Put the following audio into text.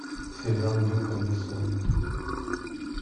сериал люка бессона